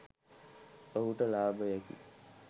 ඔහුට ලාභයකි.